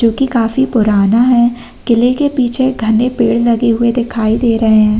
जोकि काफी पुराना है किले के पीछे घने पेड़ लगे हुए दिखायी दे रहे हैं।